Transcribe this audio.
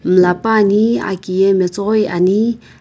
miilapane aki yae matsoroi ni.